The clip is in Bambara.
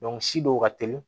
si dɔw ka teli